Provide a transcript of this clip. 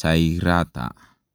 chairata?